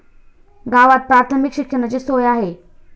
गावात प्राथमिक शिक्षणाची सोय आहे.